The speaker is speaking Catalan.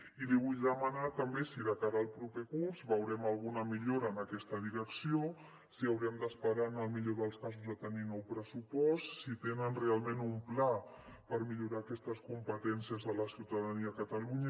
i li vull demanar també si de cara al proper curs veurem alguna millora en aquesta direcció si haurem d’esperar en el millor dels casos a tenir nou pressupost si tenen realment un pla per millorar aquestes competències de la ciutadania a catalunya